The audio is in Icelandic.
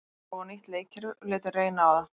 Við erum að prófa nýtt leikkerfi og létum reyna á það.